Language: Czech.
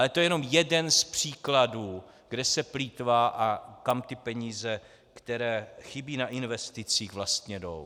Ale to je jenom jeden z příkladů, kde se plýtvá a kam ty peníze, které chybí na investicích, vlastně jdou.